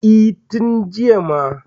E, tin jiya ma.